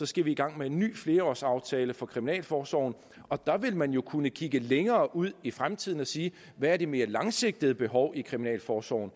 skal vi i gang med en ny flerårsaftale for kriminalforsorgen og der vil man jo kunne kigge længere ud i fremtiden og sige hvad det mere langsigtede behov i kriminalforsorgen